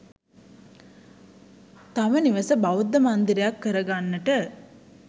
තම නිවස බෞද්ධ මන්දිරයක් කර ගන්නට